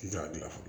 N t'a dilan fɔlɔ